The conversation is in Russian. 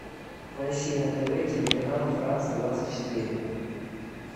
поищи на тв телеканал франс двадцать четыре